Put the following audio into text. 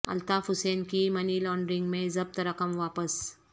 الطاف حسین کی money laundering میں ضبط رقم واپس